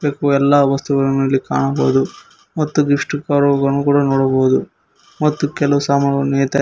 ಎಲ್ಲಾ ವಸ್ತುಗಳನ್ನು ಇಲ್ಲಿ ಕಾಣಬಹುದು ಮತ್ತು ಗಿಫ್ಟ್ ಕವರ್ಗಳನ್ನು ಕೂಡ ನೋಡಬಹುದು ಮತ್ತು ಕೆಲವು ಸಾಮಾನುಗಳು ಯಥೇಚ್ಛ --